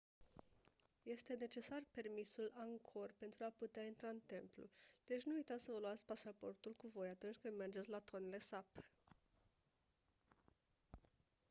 este necesar permisul angkor pentru a putea intra în templu deci nu uitați să vă luați pașaportul cu voi atunci când mergeți la tonle sap